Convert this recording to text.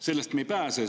Sellest me ei pääse.